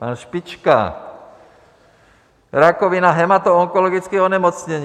Pan Špička - rakovina, hematoonkologické onemocnění.